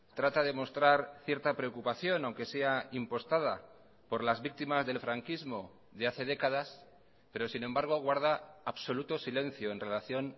trata de mostrar cierta preocupación aunque sea impostada por las víctimas del franquismo de hace décadas pero sin embargo guarda absoluto silencio en relación